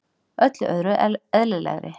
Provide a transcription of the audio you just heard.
Öllu öðru eðlilegri.